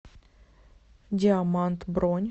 диамант бронь